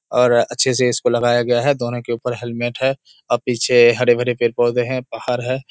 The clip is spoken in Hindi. और अच्छे से इसको लगाया गया है दोनों के ऊपर हेलमेट है और पीछे हरे-भरे पेड़ पौधे है पहाड़ है।